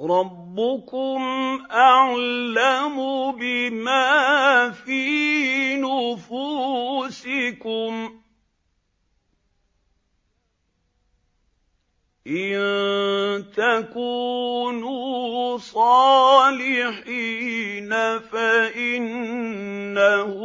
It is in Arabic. رَّبُّكُمْ أَعْلَمُ بِمَا فِي نُفُوسِكُمْ ۚ إِن تَكُونُوا صَالِحِينَ فَإِنَّهُ